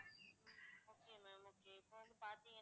okay ma'am okay இப்ப வந்து பாத்தீங்கன்னா